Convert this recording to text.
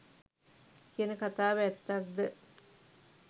කියන කථාව ඇත්තක්ද?